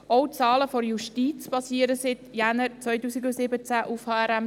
Auch die Zahlen der Justiz basieren seit Januar 2017 auf HRM2.